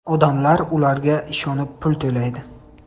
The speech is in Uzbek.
Odamlar ularga ishonib pul to‘laydi.